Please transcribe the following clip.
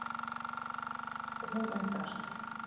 Og hún undrast.